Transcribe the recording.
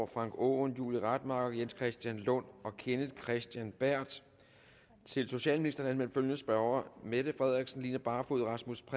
frank aaen julie rademacher jens christian lund kenneth kristensen berth til socialministeren er anmeldt følgende spørgere mette frederiksen line barfod rasmus